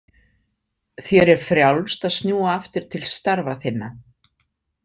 Þér er frjálst að snúa aftur til starfa þinna.